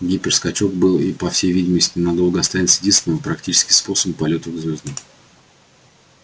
гиперскачок был и по всей видимости надолго останется единственным практическим способом полётов к звёздам